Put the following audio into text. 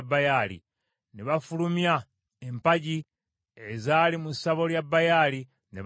Ne bafulumya empagi ezaali mu ssabo lya Baali, ne bazookya.